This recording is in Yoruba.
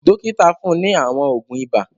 Dọ́kítá fún ní àwọn òògùn ibà.